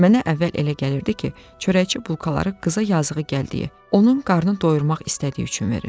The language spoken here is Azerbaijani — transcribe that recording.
Mənə əvvəl elə gəlirdi ki, çörəkçi bulkaları qıza yazığı gəldiyi, onun qarnını doyurmaq istədiyi üçün verir.